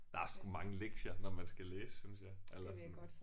Der er sgu mange lektier når man skal læse synes jeg eller sådan